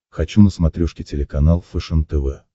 хочу на смотрешке телеканал фэшен тв